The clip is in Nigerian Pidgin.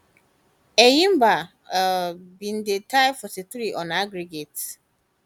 enyimba um bin di tie 43 on aggregate